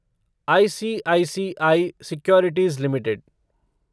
ICICI Securities limited